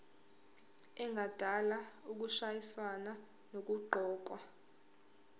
engadala ukushayisana nokuqokwa